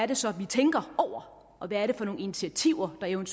det så er vi tænker over og hvad det er for nogle initiativer der evt